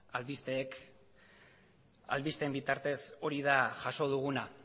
albisteen bitartez hori da jaso duguna